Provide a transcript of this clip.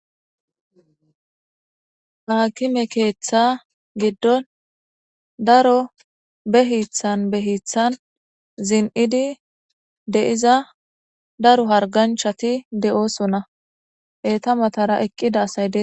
Maakime keeththa giddon daro behiithan behiithan zin'idi deiza daro harganchati d'oosonna eeta .matara eqqida asayde.